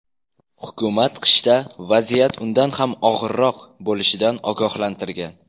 Hukumat qishda vaziyat undan ham og‘irroq bo‘lishidan ogohlantirgan.